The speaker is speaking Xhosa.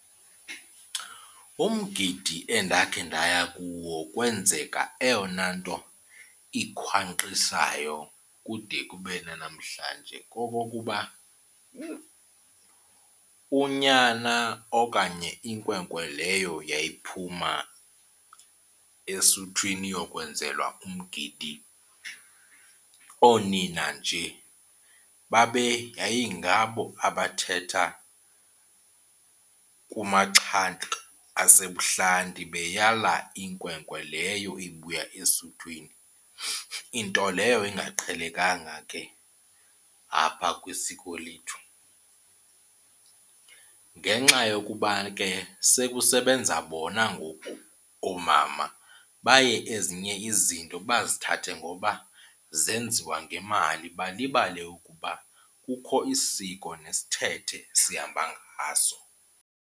Umgidi endakhe ndaya kuwo kwenzeka eyona nto ikhwankqisayo kude kube nanamhlanje kokokuba unyana okanye inkwenkwe leyo yayiphuma esuthwini iyokwenzelwa umgidi oonina nje yayingabo abathetha kumaxhanti asebuhlanti beyala inkwenkwe leyo ibuya esuthwini, into leyo engaqhelekanga ke apha kwisiko lethu. Ngenxa yokuba ke sekusebenza bona ngoku oomama baye ezinye izinto bazithathe ngoba zenziwa ngemali balibale ukuba kukho isiko nesithethe esihamba ngaso.